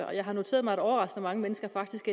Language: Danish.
og jeg har noteret mig at overraskende mange mennesker faktisk